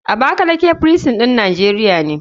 Abakaleke firisin ɗin nijeria ne.